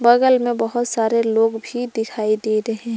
बगल में बहुत सारे लोग भी दिखाई दे रहे--